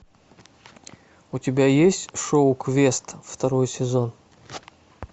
у тебя есть шоу квест второй сезон